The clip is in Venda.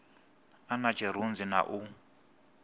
a na tshirunzi na u